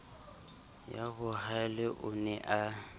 ya bohalev o ne a